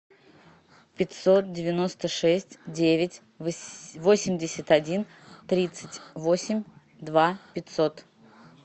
пятьсот девяносто шесть девять восемьдесят один тридцать восемь два пятьсот